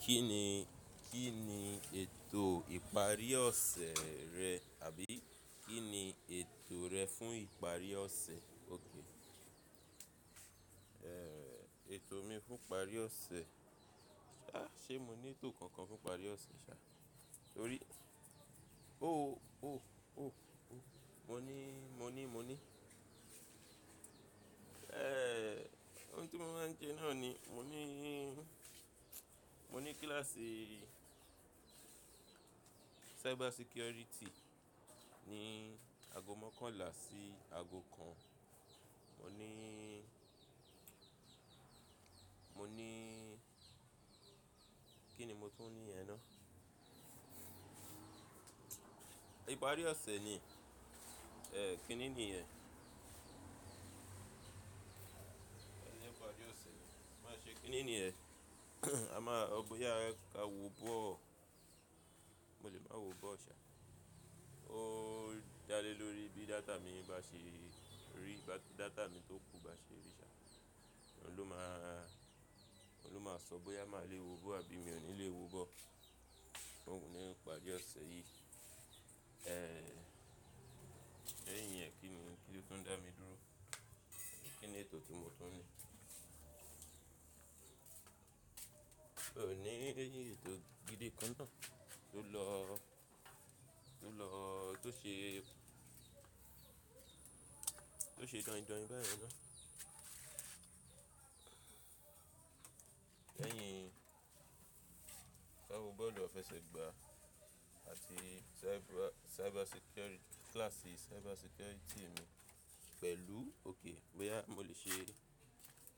Kí ni, kí ni ètò ìparí ọ̀sẹ̀ rẹ àbí kí ni ètò rẹ fún ìparí ọ̀sẹ̀? Okay. Eh, ètò mi fún ìparí ọ̀sẹ̀. Ṣá, ṣe mo ní ètò kankan fún ìparí ọ̀sẹ̀ ṣá? Torí ó ó ó ó, mo ní, mo ní, mo ní. Eh, ohun tí mo máa ń sẹ náà ni mo ní, mo ní kíláàsì cyber security ní ago mọ́kànlá sí ago kan. Mo ní, mo ní, kí ni mo tún ní yẹn náà? Ìparí ọ̀sẹ̀ ni, eh, kínni ni yẹ́n? Niparí ọ̀sẹ̀ ni, má n ṣe kínni ni yẹn? A máa, bóyá ka wo bọ́ọ̀. Mo lè máa wo bọ́ọ̀ ṣá. Ó dále lórí bí data mi bá ṣe rí, bá data mi tó kú bá ṣe rí ṣá. Òhun ló má a, òhun ló máa sọ bóyá máa lè wo ball àbí mi ò ní lè wo ball. Ní ìparí ọ̀sẹ̀ yìí. Eh, lẹ́yìn iyẹ́n kínni, kí ló tún dá mi dúró? Kí ni ètò tí mo tún ní? Oò ni èyí ètò gidi kan náà tó lọ, tó lọ, tó ṣe, tó ṣe dọ̀yìn dọ̀yìn báyìí náà. Lẹ́yìn ká wo bọ́ọ̀lu afesegbà àti cyber security, kíláàsì cyber security mi pẹ̀lú— okay, bóyá mo lè ṣe,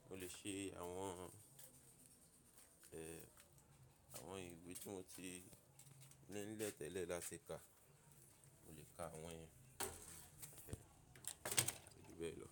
mo lè ṣe àwọn, àwọn ìwé tí mo ti nílẹ́tẹ́lẹ̀ láti kà. Mo lè kà àwọn ẹ yẹn. Kujubẹ́ẹ̀ lọ.